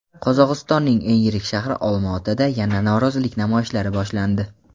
Qozog‘istonning eng yirik shahri Olmaotada yana norozilik namoyishlari boshlandi.